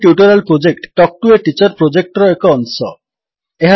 spoken tutorial project talk to a teacher ପ୍ରୋଜେକ୍ଟର ଏକ ଅଂଶ